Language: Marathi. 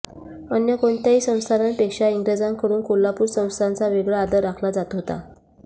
अन्य कोणत्याही संस्थानांपेक्षा इंग्रजांकडून कोल्हापूर संस्थानचा वेगळा आदर राखला जात होता